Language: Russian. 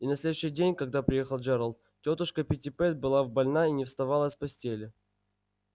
и на следующий день когда приехал джералд тётушка питтипэт была больна и не вставала с постели